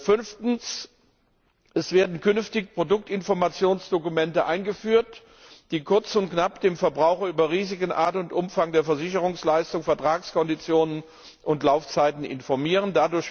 Fünftens werden künftig Produktinformationsdokumente eingeführt, die kurz und knapp den Verbraucher über Risiken, Art und Umfang der Versicherungsleistung, Vertragskonditionen und Laufzeiten informieren.